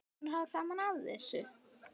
Konur hafa gaman af þessu.